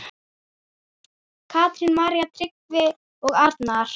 Katrín, María, Tryggvi og Arnar.